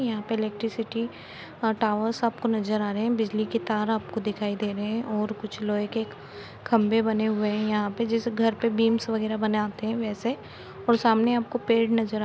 यहाँ पर इलेक्ट्रिसिटी और टावर्स आपको नज़र आ रहे है बिजली की तार आपको दिखाई दे रहे है और कुछ लोहे के खम्बे बने हुए है यहाँ पे जिस घर पे बिम्म्स वगेरा बनाते हैवैसे और सामने आपको पेड़ नज़र--